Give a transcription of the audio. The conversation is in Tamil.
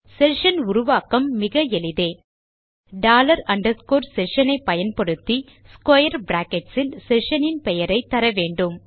செஷன் உருவாக்கம் மிக எளிதே டாலர் அண்டர்ஸ்கோர் செஷன் ஐ பயன்படுத்தி ஸ்க்வேர் பிராக்கெட்ஸ் இல் செஷன் இன் பெயரைத்தர வேண்டும்